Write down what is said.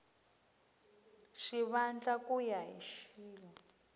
xivandla ku ya hi xilo